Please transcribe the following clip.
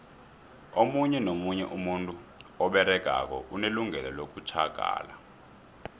omunye nomunye umuntu oberegako unelungelo lokutjhagala